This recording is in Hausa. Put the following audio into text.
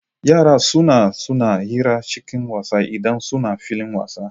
Yara suna suna hira cikin wasa idan suna filin wasa.